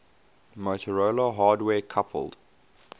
motorola hardware coupled